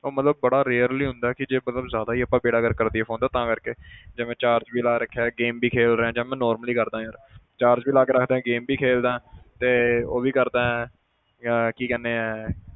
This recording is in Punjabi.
ਉਹ ਮਤਲਬ ਬੜਾ rarely ਹੁੰਦਾ ਕਿ ਜੇ ਮਤਲਬ ਜ਼ਿਆਦਾ ਹੀ ਆਪਾਂ ਬੇੜਾ ਗਰਕ ਕਰ ਦੇਈਏ phone ਦਾ ਤਾਂ ਕਰਕੇ ਜਿਵੇਂ charge ਵੀ ਲਾ ਰੱਖਿਆ game ਵੀ ਖੇਡ ਰਹੇ ਹਾਂ ਜਾਂ ਮੈਂ normally ਕਰਦਾਂ ਯਾਰ charge ਲਾ ਕੇ ਰੱਖਦਾ game ਵੀ ਖੇਲਦਾਂ ਤੇ ਉਹ ਵੀ ਕਰਦਾਂ ਕੀ ਕਹਿੰਦੇ ਆ,